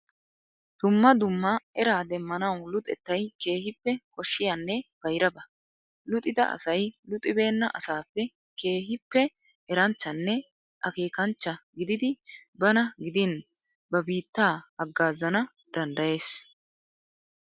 Dumma dumma eraa demmanawu luxettay keehippe koshshiyanne bayraba. Luxida asay luxibeenna asaappe keehippe eranchchanne akeekanchcha gididi bana gidin ba biittaa haggaazana danddayees.